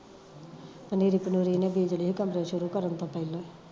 ਪਨੀਰੀ ਪੁਨੀਰੀ ਏਨੇ ਬੀਜਲੀ ਹੀ ਧੰਦੇ ਸ਼ੁਰੂ ਤੋਂ ਪਹਿਲਾਂ